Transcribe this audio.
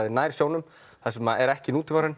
nær sjónum þar sem er ekki